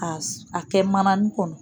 A kɛ manani kɔnɔ